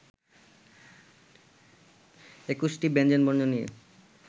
একুশটি ব্যঞ্জনবর্ণ নিয়ে